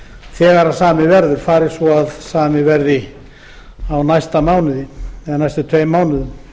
þegar samið verður fari svo að það verði gert á næstu tveimur mánuðum